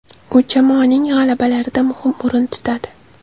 U jamoaning g‘alabalarida muhim o‘rin tutadi.